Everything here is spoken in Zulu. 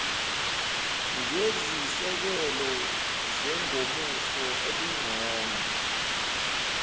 ngezisekelo zengomuso elingcono